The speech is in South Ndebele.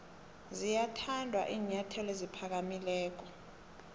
ziyathanda iinyathelo eziphakamileko